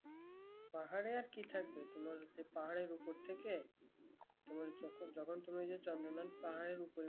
পাহাড়ি আর কি থাকবে পাহাড়ের উপর থেকে তুমি যখন যখন তুমি চন্দ্রনাথ পাহাড়এর উপর